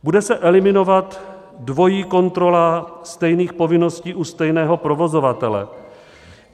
Bude se eliminovat dvojí kontrola stejných povinností u stejného provozovatele.